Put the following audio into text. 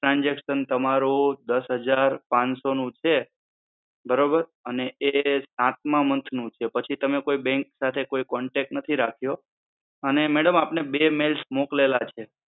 transaction તમારું દસ હજાર પાંચસો નું છે બરોબર. અને એ સાતમાં month નું છે. પછી તમે bank સાથે કોઈ contact નથી રાખ્યો અને madam આપણે બે mails મોકલેલા છે.